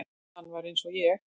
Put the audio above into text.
Hann var eins og ég.